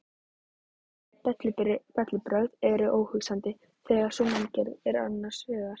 Öll bellibrögð eru óhugsandi þegar sú manngerð er annars vegar.